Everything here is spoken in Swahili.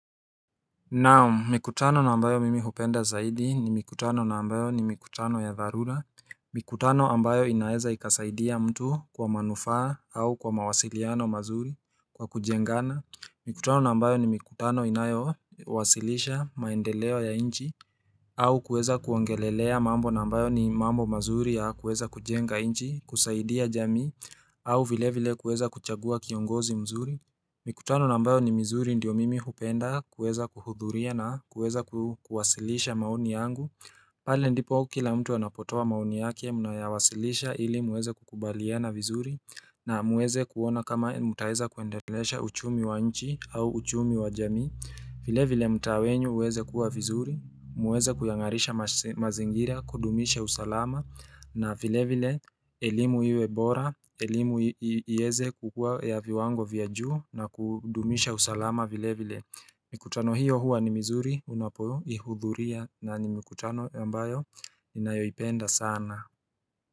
Naam mikutano na ambayo mimi hupenda zaidi ni mikutano na ambayo ni mikutano ya dharula Mikutano ambayo inaweza ikasaidia mtu kwa manufaa au kwa mawasiliano mazuri kwa kujengana Mikutano na ambayo ni mikutano inayowasilisha maendeleo ya inchi au kuweza kuongelelea mambo na ambayo ni mambo mazuri ya kuweza kujenga nchi kusaidia jamii au vile vile kuweza kuchagua kiongozi mzuri Mikutano na ambayo ni mizuri ndio mimi hupenda kuweza kuhudhuria na kuweza kuwasilisha maoni yangu pale ndipo kila mtu anapotoa maoni yake mnayawasilisha ili muweze kukubaliana vizuri na muweze kuona kama mutaweza kuendelesha uchumi wa nchi au uchumi wa jamii vile vile mtaa wenyu uweze kuwa vizuri, muweze kuyangarisha mazingira, kudumisha usalama na vile vile, elimu iwebora, elimu iweze kukua ya viwango vya juu na kudumisha usalama vile vile Mikutano hiyo huwa ni mizuri, unapoihudhuria na ni mikutano ambayo ninayoipenda sana.